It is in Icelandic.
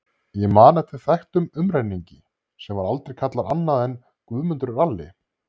Ég man eftir þekktum umrenningi sem var aldrei kallaður annað en Guðmundur ralli.